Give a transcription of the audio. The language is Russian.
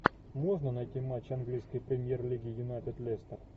можно найти матч английской премьер лиги юнайтед лестер